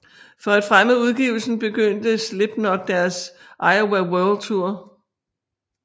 For at fremme udgivelsen begyndte Slipknot deres Iowa World Tour